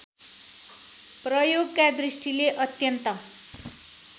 प्रयोगका दृष्टिले अत्यन्त